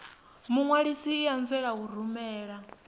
muṅwalisi i anzela u rumela